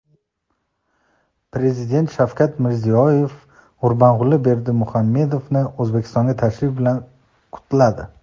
Prezident Shavkat Mirziyoyev Gurbanguli Berdimuhamedovni O‘zbekistonga tashrifi bilan qutladi.